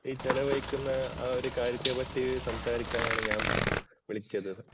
ഈ ചെലവഴിക്കുന്ന ആ ഒരു കാര്യത്തെപ്പറ്റി സംസാരിക്കാനാണ് ഞാൻ വിളിച്ചത്.